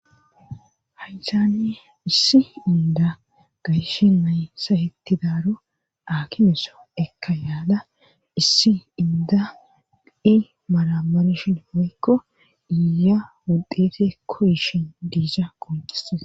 Haysaane issi inda gayshe naysa hettidaaro akimeso ekka yaada issi inda i malamarshin oykko iya wuddete koyishin diisa qoncissesa.